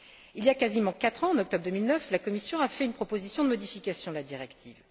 Il y a quasiment quatre ans, en octobre 2009, la Commission a fait une proposition de modification de la directive.